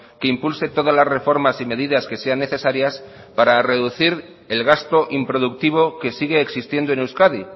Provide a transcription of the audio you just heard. que impulse todas las reformas y medidas que sean necesarias para reducir el gasto improductivo que sigue existiendo en euskadi